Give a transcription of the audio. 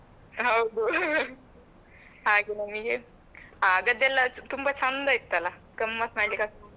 ಹೌದು ಹಾ ಹಾ ಹಾ ಹಾಗೆ ನಮಗೆ ಆಗದ್ದೆಲ್ಲ ತುಂಬಾ ಚಂದ ಇತ್ತಲ್ಲ ಗಮ್ಮತ್ ಮಾಡ್ಲಿಕ್ಕೆ ಆಗ್ತಿತ್ತು.